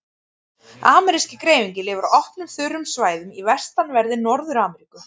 Ameríski greifinginn lifir á opnum, þurrum svæðum í vestanverðri Norður-Ameríku.